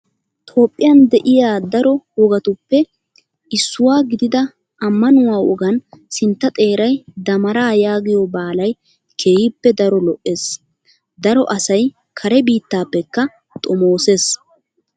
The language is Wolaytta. Toophphiyaan de'iyaa daro wogatuppe issuwaa gidida ammanuwaa wogan sintta xeeray damaaraa yaagiyoo baalayi keehippe daro lo''es. Daro asayi kare biittaappekka xomooses.